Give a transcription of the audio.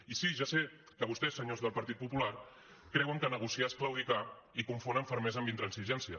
i sí ja sé que vostès senyors del partit popular creuen que negociar és claudicar i confonen fermesa amb intransigència